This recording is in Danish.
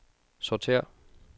sortér